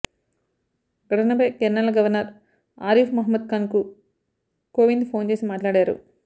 ఘటనపై కేరళ గవర్నర్ ఆరిఫ్ మహ్మద్ ఖాన్కు కోవింద్ ఫోన్ చేసి మాట్లాడారు